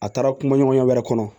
A taara kuma ɲɔgɔnya wɛrɛ kɔnɔ